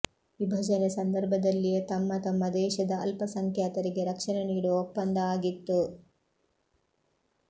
ವಿಭಜನೆ ಸಂದರ್ಭದಲ್ಲಿಯೇ ತಮ್ಮ ತಮ್ಮ ದೇಶದ ಅಲ್ಪಸಂಖ್ಯಾತರಿಗೆ ರಕ್ಷಣೆ ನೀಡುವ ಒಪ್ಪಂದ ಆಗಿತ್ತು